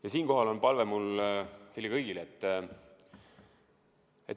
Ja siinkohal on mul palve teile kõigile.